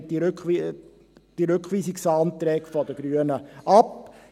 Deshalb lehnen wir diese Rückweisungsanträge der Grünen ab.